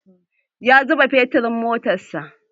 Ya zuba feturin a motar sa.